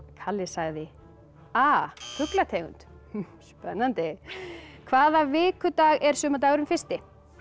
kalli sagði a fuglategund spennandi hvaða vikudag er sumardagurinn fyrsti